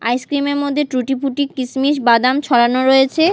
Ice cream -এর মধ্যে tutti frutti কিশমিশ বাদাম ছড়ানো রয়েছে।